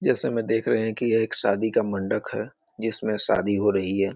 जैसा में देख रहे है कि यह एक शादी का मंडक है जिसमें शादी हो रही है।